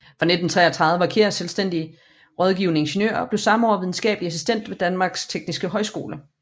Fra 1933 var Kjær selvstændig rådgivende ingeniør og blev samme år videnskabelig assistent ved Danmarks Tekniske Højskole